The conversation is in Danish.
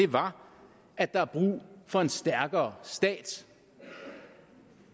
var at der er brug for en stærkere stat